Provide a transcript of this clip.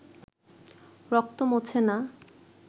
রক্ত মোছে না